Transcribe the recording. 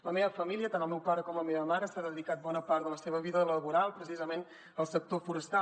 la meva família tant el meu pare com la meva mare s’ha dedicat bona part de la seva vida laboral precisament al sector forestal